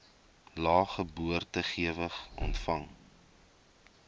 lae geboortegewig ontvang